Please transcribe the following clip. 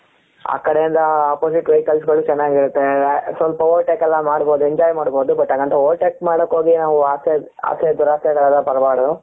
ಆಕಡೆಯಿಂದ opposite vehicles ಗಳು ಚೆನ್ನಾಗಿರುತ್ತೆ ಸ್ವಲ್ಪ over take ಎಲ್ಲ ಮಾಡಬಹುದು enjoy ಮಾಡಬಹುದು but ಹಂಗಂತ over take ಮಡಕೆ ಹೋಗಿ ನಾವು ಆಸೆ ಆಸೆ ದುರಾಸೆ